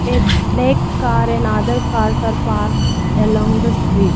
a black car and other cars are parked along the street.